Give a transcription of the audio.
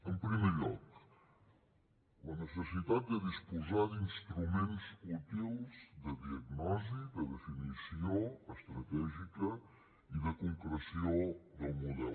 en primer lloc la necessitat de disposar d’instruments útils de diagnosi de definició estratègica i de concreció del model